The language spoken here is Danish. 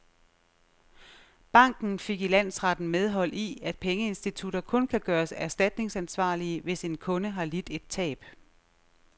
Banken fik i landsretten medhold i, at pengeinstitutter kun kan gøres erstatningsansvarlige, hvis en kunde har lidt et tab.